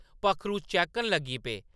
पक्खरू चैह्‌कन लगी पे।